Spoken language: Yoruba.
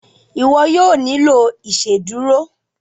iwọ yóò nilo iṣeduro.